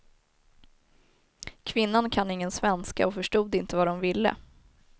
Kvinnan kan ingen svenska och förstod inte vad de ville.